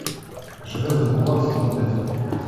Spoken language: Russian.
железный кулак сезон пять